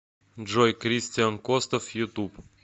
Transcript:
джой кристиан костов ютуб